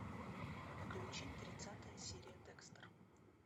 включи тридцатая серия декстер